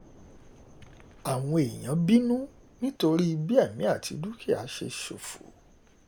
àwọn èèyàn bínú nítorí um bí èmi àti dúkìá ṣe ṣòfò